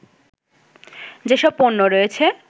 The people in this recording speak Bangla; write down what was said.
যেসব পণ্য রয়েছে